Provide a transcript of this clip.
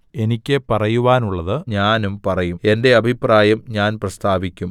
എനിക്ക് പറയുവാനുള്ളത് ഞാനും പറയും എന്റെ അഭിപ്രായം ഞാൻ പ്രസ്താവിക്കും